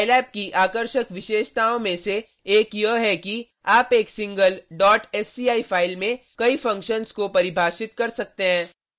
scilab की आकर्षक विशेषताओं में से एक यह है कि आप एक सिंगल sci file में कई फंक्शन्स को परिभाषित कर सकते हैं